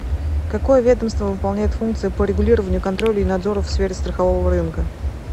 какое ведомство выполняет функции по регулированию контролю и надзору в сфере страхового рынка